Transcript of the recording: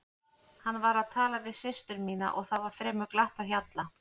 Hann var að tala við systur mínar og það var fremur glatt á hjalla.